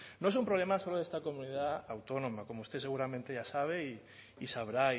no es un problema solo de esta comunidad autónoma como usted seguramente ya sabe y sabrá